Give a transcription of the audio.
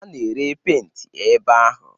A na-ere penti ebe ahụ.